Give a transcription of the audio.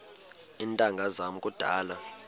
iintanga zam kudala